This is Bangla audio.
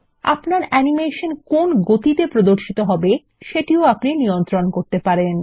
আপনার অ্যানিমেশন কোন গতিতে প্রদর্শিত হবে সেটিও আপনি নিয়ন্ত্রণ করতে পারেন